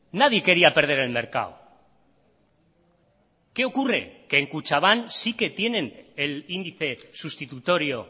nadie quería perder el mercado qué ocurre que en kutxabank sí que tienen el índice sustitutorio